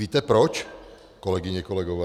Víte proč, kolegyně, kolegové?